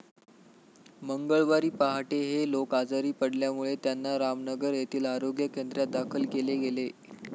मंगळवारी पहाटे हे लोक आजारी पडल्यामुळे त्यांना रामनगर येथील आरोग्य केंद्रात दाखल केले गेले.